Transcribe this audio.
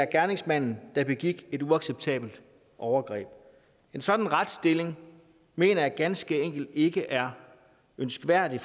gerningsmanden der begik et uacceptabelt overgreb en sådan retsstilling mener jeg ganske enkelt ikke er ønskværdig